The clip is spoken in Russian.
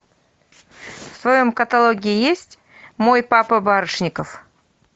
в твоем каталоге есть мой папа барышников